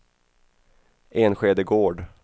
Enskede Gård